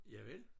Javel